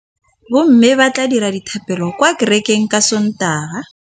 Bommê ba tla dira dithapêlô kwa kerekeng ka Sontaga.